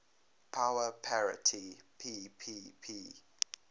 power parity ppp